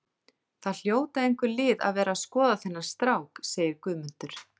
Það hljóta einhver lið að vera að skoða þennan strák, segir Guðmundur.